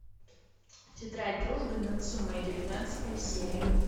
тетрадь дружбы нацумэ девятнадцатая серия